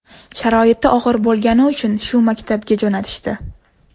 Sharoiti og‘ir bo‘lgani uchun shu maktabga jo‘natishdi.